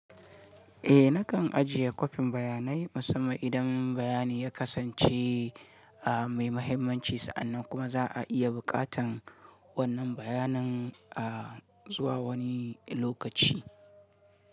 Eh nakan ajiye kwafin bayanai musamman idan bayani ya kasance a mai mahimmanci sa'annan kuma za a iya bukatan wannan bayanan a zuwa wani lokaci.